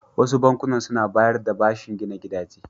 Wasu bankunan su na bayar da bashin gina gidaje.